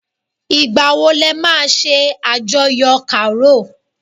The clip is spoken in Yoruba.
Ìgbà wọn le ma ṣe àjọyọ̀ Karo?